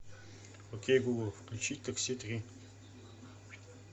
окей гугл включить такси три